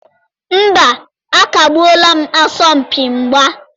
Mba, a kagbuola asọmpi mgba.